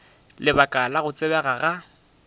lebaka la go tsebega ga